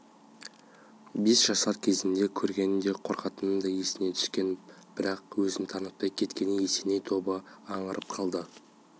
бес жасар кезінде көргені де қорқатыны да есіне түскен бірақ өзін танытпай кетті есеней тобы аңырып қалды